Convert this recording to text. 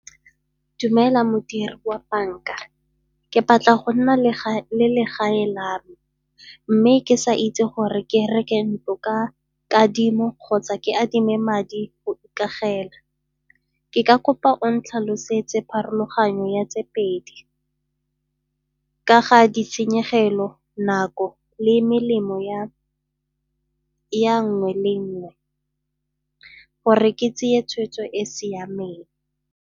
Dumela modiri wa banka, ke batla go nna le ga le legae la mme ke sa itse gore ke reke ntlo ka kadimo kgotsa ke adime madi go ikagela. Ke ka kopa o ntlhalosetse pharologanyo ya tse pedi, ka ga ditshenyegelo, nako le melemo ya nngwe le nngwe gore ke tseye tshweetso e e siameng.